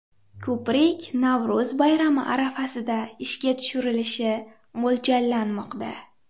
Ko‘prik Navro‘z bayrami arafasida ishga tushirilishi mo‘ljallanmoqda.